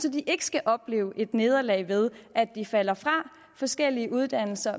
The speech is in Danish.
at de ikke skal opleve et nederlag ved at de falder fra forskellige uddannelser